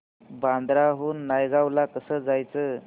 बांद्रा हून नायगाव ला कसं जायचं